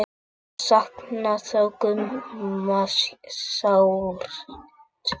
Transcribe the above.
Ég saknaði þó Gumma sárt.